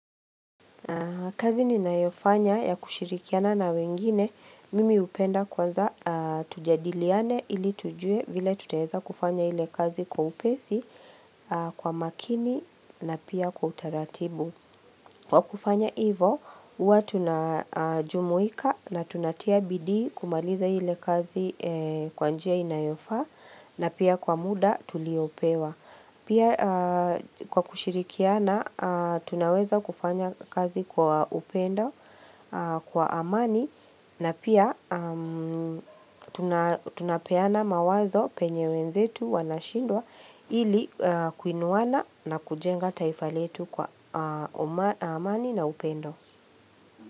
Kazi ninayofanya ya kushirikiana na wengine, mimi hupenda kwanza tujadiliane ili tujue vile tutaeza kufanya ile kazi kwa upesi, kwa makini na pia kwa utaratibu. Kwa kufanya hivo, huwa tunajumuika na tunatia bidii kumaliza ile kazi kwa njia inayofaa na pia kwa muda tuliopewa. Pia kwa kushirikiana tunaweza kufanya kazi kwa upendo, kwa amani na pia tunapeana mawazo penye wenzetu wanashindwa ili kuinuwana na kujenga taifa letu kwa amani na upendo.